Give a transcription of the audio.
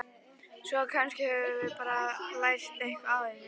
Svo kannski höfum við bara lært eitthvað á þessu.